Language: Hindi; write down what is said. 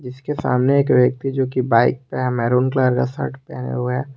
इसके सामने एक व्यक्ति जो कि बाइक पे है मैरून कलर का शर्ट पहने हुए है।